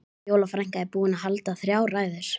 Fjóla frænka er búin að halda þrjár ræður.